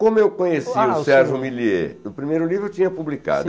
Como eu conheci o Sérgio Millier, o primeiro livro eu tinha publicado.